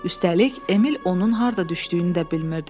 Üstəlik Emil onun harda düşdüyünü də bilmirdi.